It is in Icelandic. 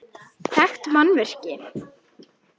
Þekkt mannvirki